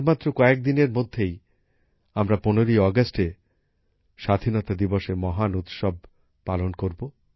আর মাত্র কয়েকদিনের মধ্যেই আমরা ১৫ই আগস্ট এ স্বাধীনতা দিবসের মহান উৎসবের পালন করব